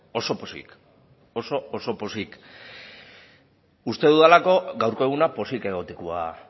oso pozik uste dudalako gaurko eguna pozik egotekoa